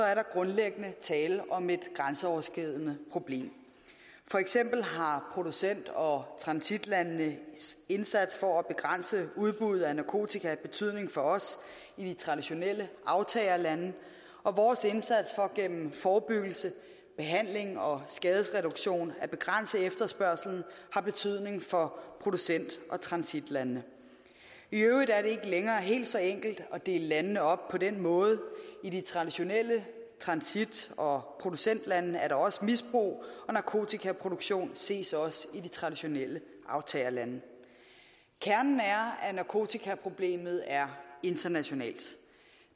er der grundlæggende tale om et grænseoverskridende problem for eksempel har producent og transitlandenes indsats for at begrænse udbuddet af narkotika betydning for os i de traditionelle aftagerlande og vores indsats for gennem forebyggelse behandling og skadesreduktion at begrænse efterspørgslen har betydning for producent og transitlande i øvrigt er det ikke længere helt så enkelt at dele landene op på den måde i de traditionelle transit og producentlande er der også misbrug og narkotikaproduktion ses også i de traditionelle aftagerlande kernen er at narkotikaproblemet er internationalt